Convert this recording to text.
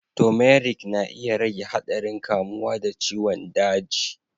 Turmeric na iya rage haɗarin kamuwa da ciwon daji.